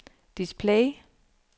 display